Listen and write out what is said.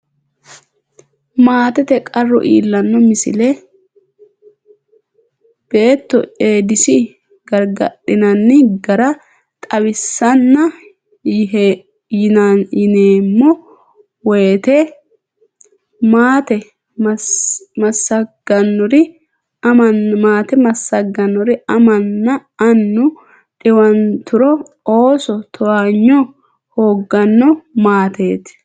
Maatete qarru iillanno Misile Beetto Eedisi gargardhinanni gara xawissanna yineemmo woyte maate massaggannori amanna annu dhiwanturo ooso towaanyo hoogganno Maatete.